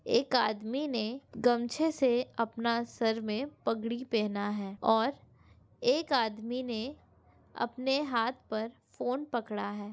एक आदमी ने गमछे से अपना सर में पगड़ी पहना हैं और एक आदमी ने अपने हाथ पर फ़ोन पकड़ा हैं।